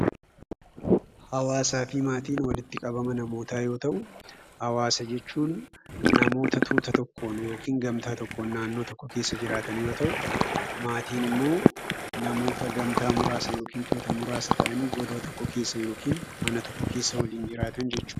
Hawaasafi maatiin walitti qabama namootaa yoo ta'u, hawaasa jechuun namoota tuuta tokkoon yookiin gamtaa tokkoon naannoo tokko keessa jiraatan yoo ta'u, maatinimmoo namoota gamtaa muraasa yookiin tuuta muraasa ta'anii godoo tokko keessa yookiin mana tokko keessa waliin jiraatan jechuudha.